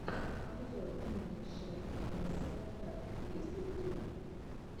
обзор инги шэ аэсэмэр есть ли у тебя